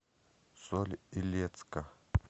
соль илецка